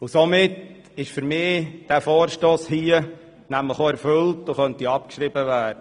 Somit ist dieser Vorstoss aus meiner Sicht bereits erfüllt und könnte abgeschrieben werden.